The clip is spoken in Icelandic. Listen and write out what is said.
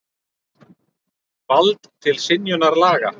Vald til synjunar laga.